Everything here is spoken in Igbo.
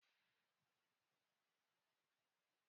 Anyị na-eli ọgọ unu n’ịzụ a